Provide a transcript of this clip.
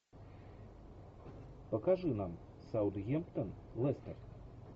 покажи нам саутгемптон лестер